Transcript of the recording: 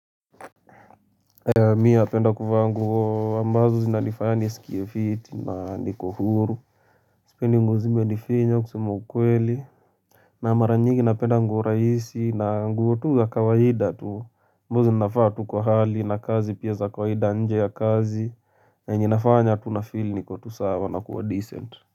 Mimi napenda kuvaa nguo ambazo zinanifanya nisikie fiti na niko huru Sipendi nguo zimenifinya kusema ukweli na mara nyingi napenda nguo rahisi na nguo tu za kawaida tu nguo zinafaa tu kwa hali na kazi pia za kawaida nje ya kazi na yenye inafanya tu nafeel niko tu sawa na kuwa decent.